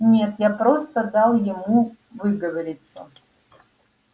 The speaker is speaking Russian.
нет я просто дал ему выговориться